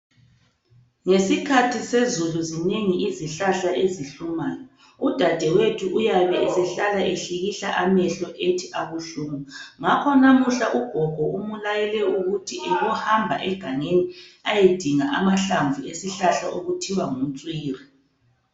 Ngesikhathi sezulu zinengi izihlahla ezihlumayo. Udadewethu uyabe esehlala ehlikihla amehlo ethi abuhlungu. Ngakho lamuhla ugogo umlayele ukuthi abohamba egangeni ayodinga amahlamvu esihlahla okuthiwa ngumtswiri